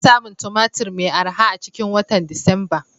Ana samun Tumatir mai arha a cikin watan Disamba.